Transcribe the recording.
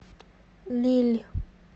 лилль